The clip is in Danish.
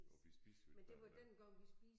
Og vi spiser jo ikke varm mad